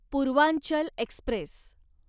Purvanchal Express